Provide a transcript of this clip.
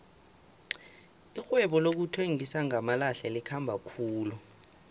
irhwebo lokuthengisa ngamalahle likhamba khulu